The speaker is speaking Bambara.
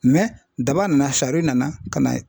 daba nana sari nana ka na